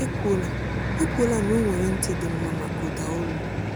Ekwuola Ekwuola na o nwere ntị dị mma maka ụda olu.